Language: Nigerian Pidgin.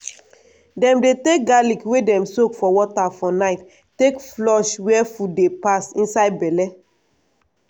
dem dey take garlic wey dem soak for water for night take flush where food dey pass inside belle.